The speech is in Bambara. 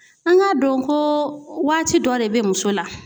An k'a dɔn ko waati dɔ de bɛ muso la.